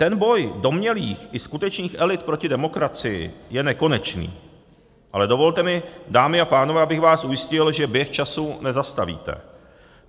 Ten boj domnělých i skutečných elit proti demokracii je nekonečný, ale dovolte mi, dámy a pánové, abych vás ujistil, že běh času nezastavíte.